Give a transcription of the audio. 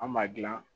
An ma dilan